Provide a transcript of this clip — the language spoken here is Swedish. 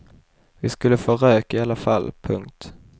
Vi skulle få rök i alla fall. punkt